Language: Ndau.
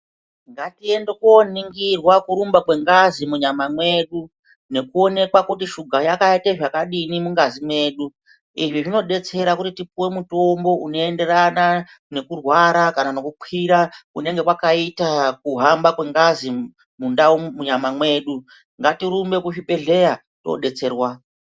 Ngatiende koningirwa kurumba kwengazi munyama mwedu ngekuonekwa kuti shuka yakaite zvakadini mungazi mwedu. Izvi zvinodetsera kuti tipuwe mutombo unoyenderana nekurwara kana nekukwira kunenge kwakaita kuhamba kwengazi munyama mwedu. Ngatirumbe kuzvibhehleya todetserwa.